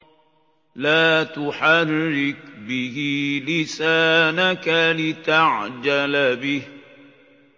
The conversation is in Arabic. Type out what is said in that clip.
لَا تُحَرِّكْ بِهِ لِسَانَكَ لِتَعْجَلَ بِهِ